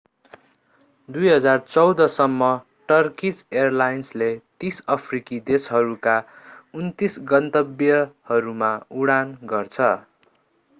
2014 सम्म टर्कीज एयरलाइन्सले 30 अफ्रिकी देशहरूका 39 गन्तव्यहरूमा उडान गर्छ